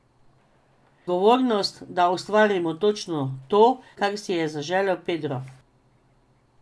Odgovornost, da ustvarimo točno to, kar si je zaželel Pedro.